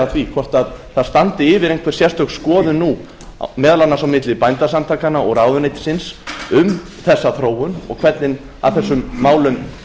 því hvort yfir standi einhver sérstök skoðun nú meðal annars á milli bændasamtakanna og ráðuneytisins um þessa þróun og hvernig að þessum málum